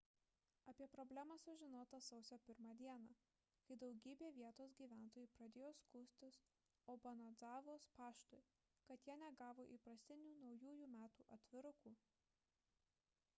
apie problemą sužinota sausio 1 d kai daugybė vietos gyventojų pradėjo skųstis obanadzavos paštui kad jie negavo įprastinių naujųjų metų atvirukų